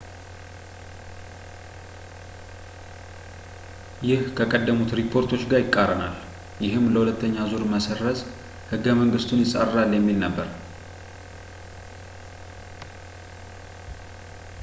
ይህ ከቀደሙት ሪፖርቶች ጋር ይቃረናል ፣ ይህም ለሁለተኛ ዙር መሰረዝ ሕገ-መንግስቱን ይፃረራል የሚል ነበር